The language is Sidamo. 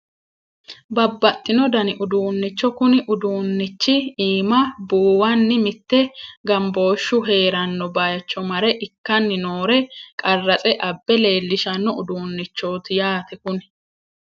Babbaxxino dani uduunnicho kuni uduunnichi iima buuwanni mitte gambooshshu heeranno baycho mare ikkanni noore qarratse abbe leellishanno uduunnichooti yaate kuni